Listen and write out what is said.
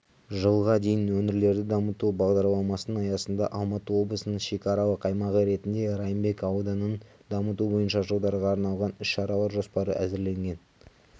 жылға дейін өңірлерді дамыту бағдарламасының аясында алматы облысының шекаралық аймағы ретінде райымбек ауданын дамыту бойынша жылдарға арналған іс-шаралар жоспары әзірленген